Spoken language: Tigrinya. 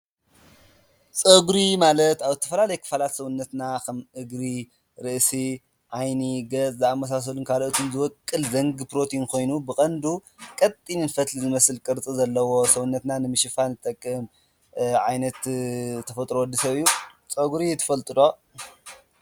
ፀጉሪ ማለት ኣብ ተፋላለየ ክፋላት ሰውነትና ከም እግሪ፣ ርእሲ ፣ ዓይኒ ፣ገፅ ዝኣመሳሰሉን ካልኦት ዝወቅል ዘንጊ ፕሮቲን ኮይኑ ብቀንዱ ቀጢን ፈትሊ ዝመስል ዘለዎ ቅርፂ ሰውነትና ንምሽፋን ዝጠቅም ዓይነት ተፈጥሮ ወዲ ሰብ እዩ። ፀጉሪ ትፈልጡ ዶ?